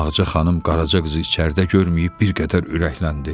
Ağca xanım Qaraca qızı içəridə görməyib bir qədər ürəkləndi.